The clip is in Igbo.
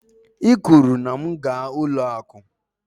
I kwuru na m gaa ụlọ akụ.